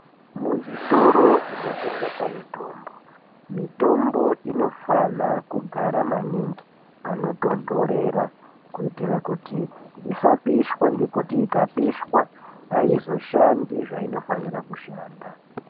Muzvitoro zvinotengese mitombo, mitombo inofana kugara maningi panotonhorera kuitira kuti isapishwa ngekuti ikapishwa aizoshandi zvainofanira kushanda